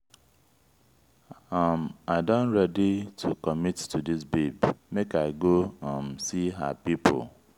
um i don ready to commit to dis babe make i go um see her pipo.